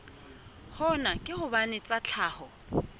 hona ke hobane tsa tlhaho